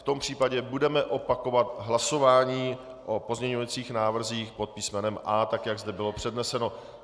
V tom případě budeme opakovat hlasování o pozměňovacích návrzích pod písmenem A, tak jak zde bylo předneseno.